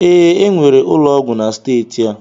Ee, enwere ụlọ ọgwụ na steeti a